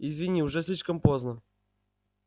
извини уже слишком поздно